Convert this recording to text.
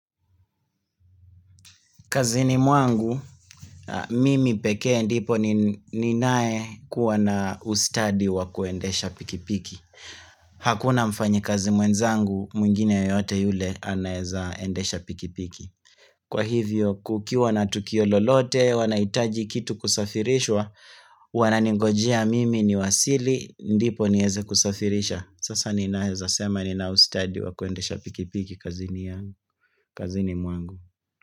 Kazini mwangu, a mimi pekee ndipo nin ninae kuwa na ustadi wa kuendesha pikipiki. Hakuna mfanyikazi mwenzangu, mwingine yeyote yule, anaeza endesha pikipiki. Kwa hivyo, kukiwa na tukio lolote, wanaitaji kitu kusafirishwa, wananingojia mimi niwasili, ndipo nieze kusafirisha. Sasa ninaeza sema nina ustadi wa kuendesha pikipiki kazini ya kazini mwangu.